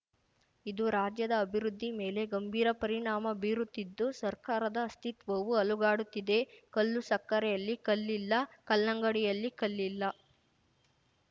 ಇದು ರಾಜ್ಯದ ಅಭಿವೃದ್ಧಿ ಮೇಲೆ ಗಂಭೀರ ಪರಿಣಾಮ ಬೀರುತ್ತಿದ್ದು ಸರ್ಕಾರದ ಅಸ್ತಿತ್ವವೂ ಅಲುಗಾಡುತ್ತಿದೆ ಕಲ್ಲು ಸಕ್ಕರೆಯಲ್ಲಿ ಕಲ್ಲಿಲ್ಲ ಕಲ್ಲಂಗಡಿಯಲ್ಲಿ ಕಲ್ಲಿಲ್ಲ